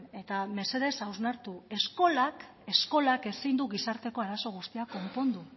eta mesedez hausnartu eskolak ezin du gizarteko arazo guztiak konpondu